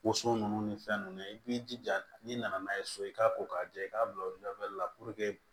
Woso ninnu ni fɛn nunnu i b'i jija n'i nana n'a ye so i k'a ko k'a jɛ i k'a bila o la